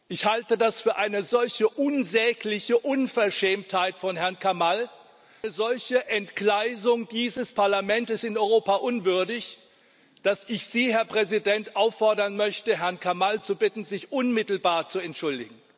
Ich halte das für eine solche unsägliche Unverschämtheit von Herrn Kamall, eine solche Entgleisung dieses Parlamentes, in Europa unwürdig, dass ich Sie, Herr Präsident, auffordern möchte, Herrn Kamall zu bitten, sich unmittelbar zu entschuldigen.